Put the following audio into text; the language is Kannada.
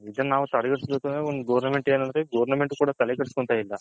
ಇದನ್ನ ನಾವು ತಡೆಗಟ್ಟ ಬೇಕು ಅಂದ್ರೆ ಗೌರ್ನಮೆಂಟ್ ಏನು ಅಂದ್ರೆ ಗೌರ್ನಮೆಂಟ್ ಏನು ತಲೆ ಕೆಡಸಕೊಂದ್ತಿಲ್ಲ